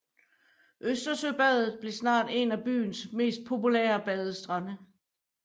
Østersøbadet blev snart en af byens mest populære badestrande